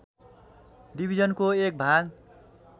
डिभीजनको एक भाग